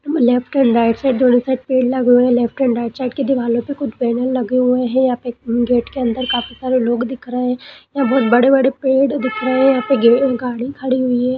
Left and right side दोनों side पेड़ लगे हुए है लेफ्ट एंड राईट साइड की दीवालो पे कुछ बैनर लगे हुए है यहाँ पर गेट के अंदर काफी सारे लोग दिख रहे यहाँ बहुत बड़े-बड़े पेड़ दिख रहे है यहाँ पे गे गाड़ी खड़ी हुई है।